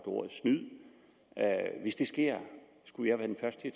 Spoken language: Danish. ordet snyd og hvis det sker skulle jeg være den første